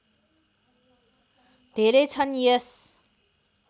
धेरै छन् यस